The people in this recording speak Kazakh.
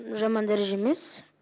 жаман дәреже емес